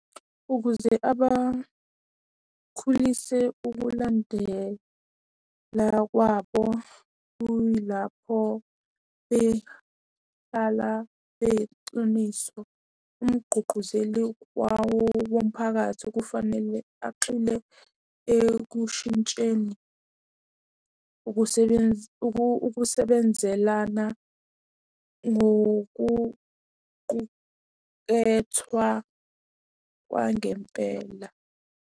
Ukuze abakhulise ukulandela kwabo kuyilapho behlala bexiniso. Umgqugquzeli womphakathi kufanele axile ekushintsheni ukusebenza ukusebenzelana ngokuqukethwa kwangempela.